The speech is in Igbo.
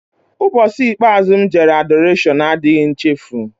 Ụbọchị ikpeazụ m jere Adọrashọn adịghị nchefu.